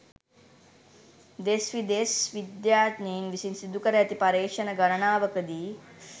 දෙස් විදෙස් විද්‍යාඥයින් විසින් සිදුකර ඇති පර්යේෂණ ගණනාවක දී